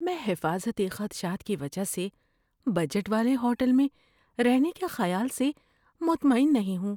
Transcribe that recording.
میں حفاظتی خدشات کی وجہ سے بجٹ والے ہوٹل میں رہنے کے خیال سے مطمئن نہیں ہوں۔